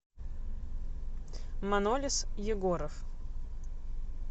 манолис егоров